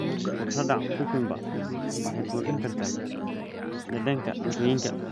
Khudradda cucumber waxay kordhin kartaa dhadhanka cuntooyinka.